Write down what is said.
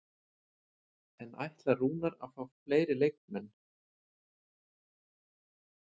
En ætlar Rúnar að fá fleiri leikmenn?